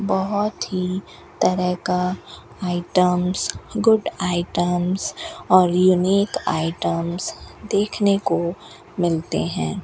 बहोत ही तरह का आइटम्स गुड आइटम्स और यूनिक आइटम्स देखने को मिलते हैं।